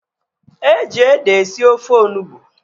Eji ede esi ofe onugbu